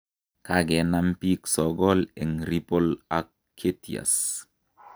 Kakenam pik sokol eng ripol ak ketias